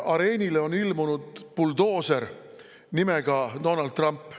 Areenile on ilmunud buldooser nimega Donald Trump.